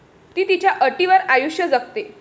ती तिच्या अटींवर आयुष्य जगते.